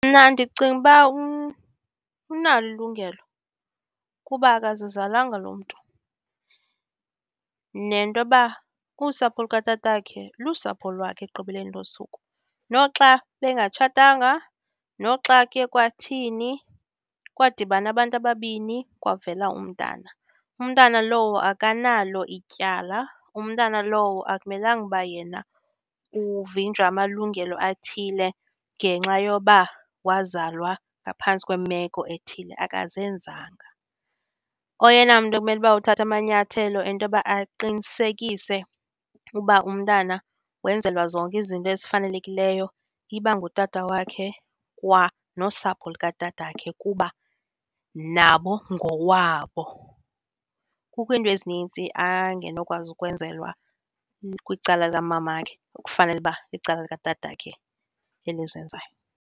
Mna ndicinga uba unalo ilungelo kuba akazizalanga lo mntu nentoba usapho lukatatakhe lusapho lwakhe ekugqibeleni losuku. Noxa bengatshatanga, noxa ke kwathini, kwadibana abantu ababini kwavela umntana. Umntana lowo akanalo ityala, umntana lowo akumelanga uba yena uvinjwa amalungelo athile ngenxa yoba wazalwa ngaphantsi kwemeko ethile, akazenzanga. Oyena mntu obekumele uba uthatha amanyathelo entoba aqinisekise uba umntana wenzelwa zonke izinto ezifanelekileyo iba ngutata wakhe kwa nosapho lukatatakhe kuba nabo ngowabo. Kukho iinto ezininzi angenokwazi ukwenzelwa kwicala likamamakhe, ekufanele uba icala likatatakhe elizenzayo.